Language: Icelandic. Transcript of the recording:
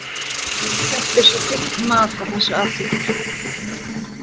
Hvert er svo þitt mat á þessu atviki?